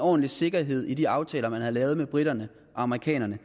ordentlig sikkerhed i de aftaler man havde lavet med briterne og amerikanerne